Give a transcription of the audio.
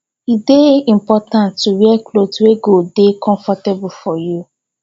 e de important to wear cloth wey go de comfortable for you